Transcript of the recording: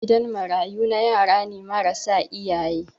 gidan marayu na yarane marasa iyaye